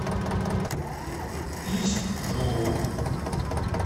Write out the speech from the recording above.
ичжоу